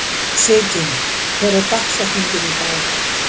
Sigyn, hver er dagsetningin í dag?